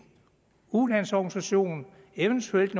ulandsorganisation eventuelt